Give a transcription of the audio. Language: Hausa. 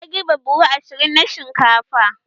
Ya girbe buhu ashirin na shinkafa